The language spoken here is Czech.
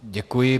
Děkuji.